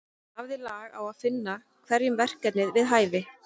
Hann hafði lag á að finna hverjum verkefni við hæfi.